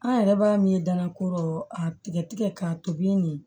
An yɛrɛ b'a min ye dalakoro a tigɛ tigɛ k'a tobi nin